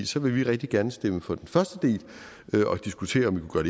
så vil vi rigtig gerne stemme for den første del og diskutere om vi kunne